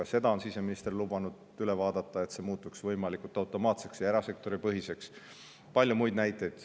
Ka seda on siseminister lubanud üle vaadata, et see muutuks võimalikult automaatseks ja erasektoripõhiseks, ja palju muid näiteid.